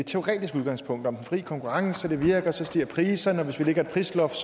teoretisk udgangspunkt om den fri konkurrence det virker så stiger priserne og hvis vi lægger et prisloft